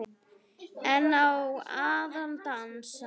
En á að dansa?